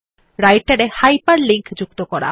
রাইটের এ হাইপারলিঙ্ক যুক্ত করা